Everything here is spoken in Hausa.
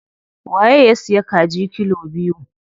Waye ya siya kaji kilo biyu?